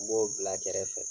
N b'o bila kɛrɛfɛ fɛ